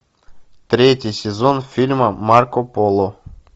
третий сезон фильма марко поло